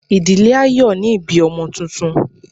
ìdílé a yóò ni ibí ọmọ túntún